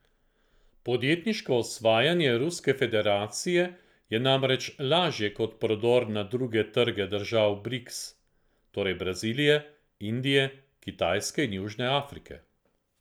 Podjetniško osvajanje Ruske federacije je namreč lažje kot prodor na druge trge držav Briks, torej Brazilije, Indije, Kitajske in Južne Afrike.